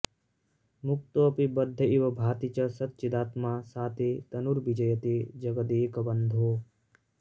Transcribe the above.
मुक्तोऽपि बद्ध इव भाति च सच्चिदात्मा सा ते तनुर्विजयते जगदेकबन्धो